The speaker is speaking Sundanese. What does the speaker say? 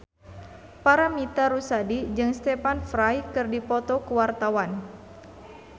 Paramitha Rusady jeung Stephen Fry keur dipoto ku wartawan